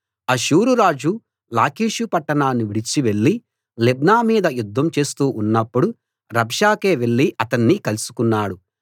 అష్షూరురాజు Lachish పట్టణాన్ని విడిచి వెళ్లి లిబ్నా మీద యుద్ధం చేస్తూ ఉన్నప్పుడు రబ్షాకే వెళ్లి అతన్ని కలుసుకున్నాడు